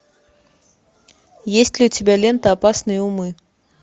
есть ли у тебя лента опасные умы